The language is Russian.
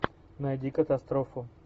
найди катастрофу